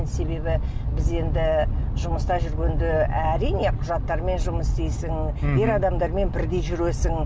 себебі біз енді жұмыста жүргенде әрине құжаттармен жұмыс істейсің ер адамдармен бірдей жүресің